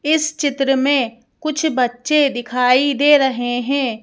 इस चित्र में कुछ बच्चे दिखाई दे रहे हैं।